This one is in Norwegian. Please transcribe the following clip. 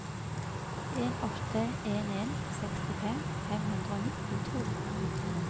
en åtte en en sekstifem fem hundre og nittito